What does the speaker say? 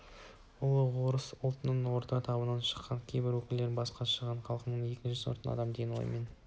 ұлы орыс ұлтының орта тобынан шыққан кейбір өкілдері басқа шағын халықтарға екінші сортты адам деген оймен